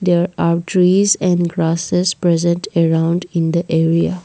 there are trees and grasses present around in the area.